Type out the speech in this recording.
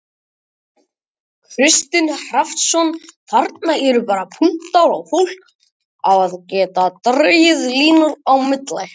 Kristinn Hrafnsson: Þarna eru bara punktar og fólk á að geta dregið línur á milli?